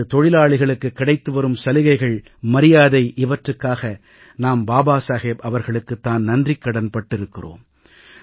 இன்று தொழிலாளிகளுக்கு கிடைத்து வரும் சலுகைகள் மரியாதை இவற்றுக்காக நாம் பாபா சாஹேப் அவர்களுக்குத் தான் நன்றிக்கடன் பட்டிருக்கிறோம்